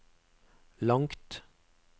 langt